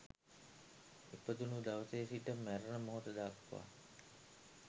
ඉපදුන දවසේ සිට මැරෙන මොහොත දක්වා